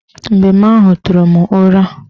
Mbem ahụ tụrụ m ụra